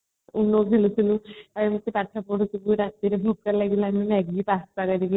uno ଖେଳୁଥିଲୁ ଆଉ କେତେ ପାଠ ପଢୁଥିଲୁ ରାତିରେ ଭୋକ ଲାଗିଲାଣି maggi pasta କରିକି